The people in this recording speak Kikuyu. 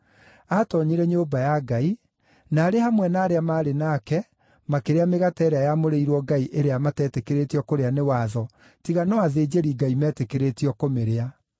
Aatoonyire nyũmba ya Ngai, na arĩ hamwe na arĩa maarĩ nake, makĩrĩa mĩgate ĩrĩa yamũrĩirwo Ngai ĩrĩa mateetĩkĩrĩtio kũrĩa nĩ watho, tiga no athĩnjĩri-Ngai meetĩkĩrĩtio kũmĩrĩa.